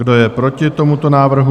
Kdo je proti tomuto návrhu?